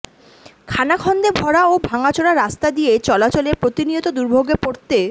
খানাখন্দে ভরা ও ভাঙাচোরা রাস্তা দিয়ে চলাচলে প্রতিনিয়ত দুর্ভোগে পড়তে